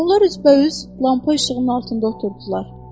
Onlar üzbəüz lampa işığının altında oturdular.